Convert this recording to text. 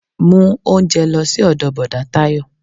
Mú oúnjẹ lọ sí ọdọ bọ̀dá Tayo